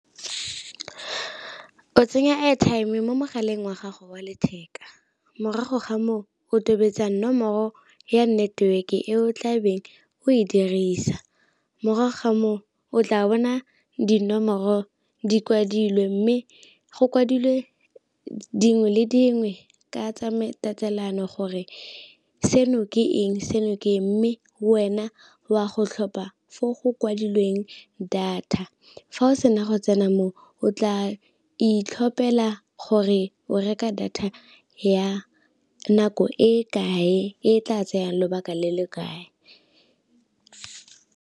O tsenya airtime mo mogaleng wa gago wa letheka, morago ga moo o tobetsa nomoro ya network e o tlabeng o e dirisa, morago ga moo o tla bona dinomoro di kwadilwe mme go kwadilwe dingwe le dingwe ka tatelano gore seno ke eng seno ke eng, mme wena wa go tlhopha fo go kwadilweng data fa o sena go go tsena mo o tla itlhopela gore o reka data ya nako e kae e tla tsayang lobaka le le kae.